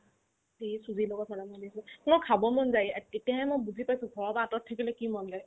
ই চুজিৰ লগত বনাব দিছে মোৰ খাব মন যায় এ~ এতিয়াহে মই বুজি পাইছো ঘৰৰ পৰা আতৰত থাকিলে কি মৰম দেই